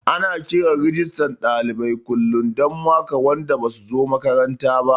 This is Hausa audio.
Ana kiran Rijistan ɗalibai kullum don maka wanda basu zo makaranta ba